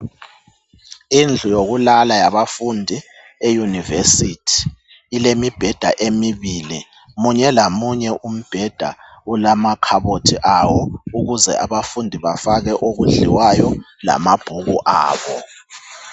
Indlu yokulala yabafundi eyunivesithi ilemibheda emibili, munye lamunye umbheda ulamakhabothi awo ukuze abafundi bafake okudliwayo lamabhuku abo.